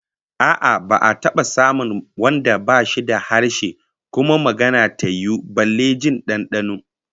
A'a, ba'a taba samun wanda bashi da harshe kuma magana ta yiwu ba, balle jin dandano